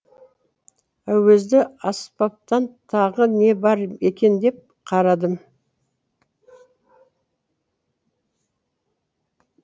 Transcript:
әуезді аспаптан тағы не бар екен деп қарадым